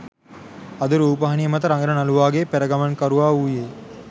අද රූපවාහිනිය මත රඟන නළුවාගේ පෙරගමන්කරුවා වූයේ